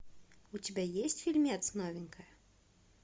у тебя есть фильмец новенькая